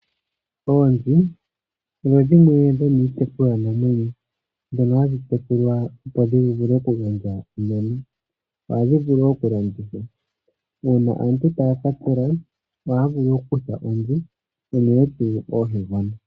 Oonzi odho dhimwe dhomiitekulwanamwenyo ndhono hadhi tekulwa, opo dhi vule okugandja onyama. Ohadhi vulu okulandithwa. Uuna aantu taya ka tsela, ohaya vulu okukutha onzi unene tuu oohegona.